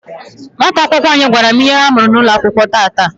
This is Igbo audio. nwata akwụkwọ anyị gwara m ihe ha mụrụ N'ụlọakwụkwọ tata.